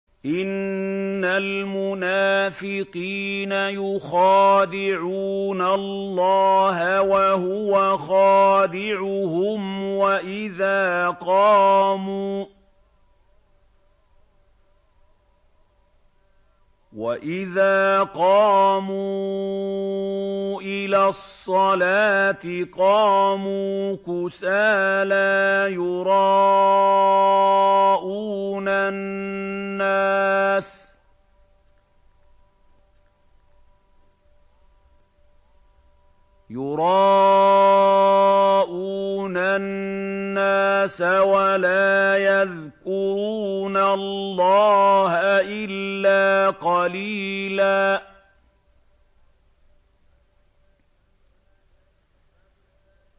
إِنَّ الْمُنَافِقِينَ يُخَادِعُونَ اللَّهَ وَهُوَ خَادِعُهُمْ وَإِذَا قَامُوا إِلَى الصَّلَاةِ قَامُوا كُسَالَىٰ يُرَاءُونَ النَّاسَ وَلَا يَذْكُرُونَ اللَّهَ إِلَّا قَلِيلًا